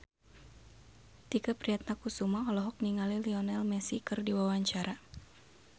Tike Priatnakusuma olohok ningali Lionel Messi keur diwawancara